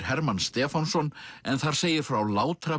Hermann Stefánsson en þar segir frá